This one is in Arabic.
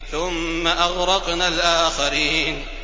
ثُمَّ أَغْرَقْنَا الْآخَرِينَ